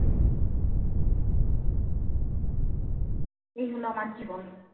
এই হলো আমার জীবন।